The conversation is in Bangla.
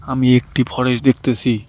আমি একটি ফরেস্ট দেখতেসি।